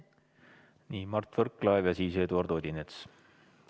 Nii, Mart Võrklaev ja siis Eduard Odinets.